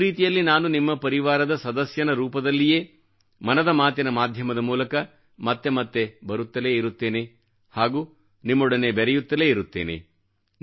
ಒಂದು ರೀತಿಯಲ್ಲಿ ನಾನು ನಿಮ್ಮ ಪರಿವಾರದ ಸದಸ್ಯನ ರೂಪದಲ್ಲಿಯೇ ಮನದ ಮಾತಿನ ಮಾಧ್ಯಮದ ಮೂಲಕ ಮತ್ತೆ ಮತ್ತೆ ಬರುತ್ತಲೇ ಇರುತ್ತೇನೆ ಹಾಗೂ ನಿಮ್ಮೊಡನೆ ಬೆರೆಯುತ್ತಲೇ ಇರುತ್ತೇನೆ